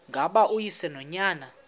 ngaba uyise nonyana